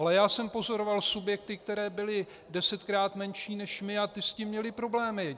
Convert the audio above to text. Ale já jsem pozoroval subjekty, které byly desetkrát menší než my, a ty s tím měly problémy.